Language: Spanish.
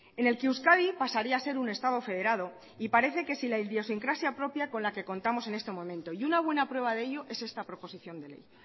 en el que euskadi pasaría a ser un estado federado y parece que si la idiosincrasia propia con la que contamos en este momento y una buena prueba de ello es esta proposición de ley